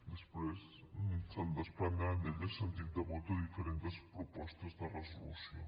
després se’n desprendrà d’ella sentit de vot de diferents propostes de resolució